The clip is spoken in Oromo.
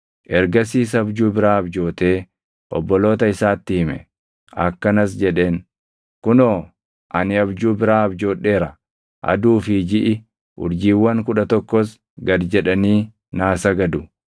Ergasiis abjuu biraa abjootee obboloota isaatti hime. Akkanas jedheen; “Kunoo, ani abjuu biraa abjoodheera; aduu fi jiʼi, urjiiwwan kudha tokkos gad jedhanii naa sagadu.”